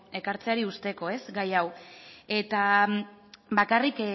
ekartzeari uzteko gai hau bakarrik